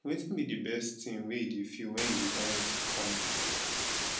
wetin be di best thing wey you dey feel when you dey dine with your family